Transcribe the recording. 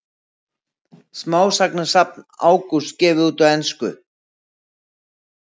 Smásagnasafn Ágústs gefið út á ensku